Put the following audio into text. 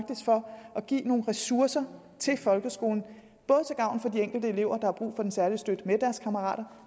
at give nogle ressourcer til folkeskolen til gavn for de enkelte elever der har brug for en særlig støtte med deres kammerater